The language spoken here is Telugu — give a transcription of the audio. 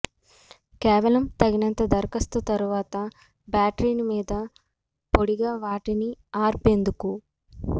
కేవలం తగినంత దరఖాస్తు తరువాత బ్యాటరీని మీద పొడిగా వాటిని ఆర్పేందుకు